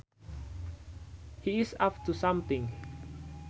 He is up to something